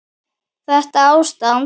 Þetta ástand?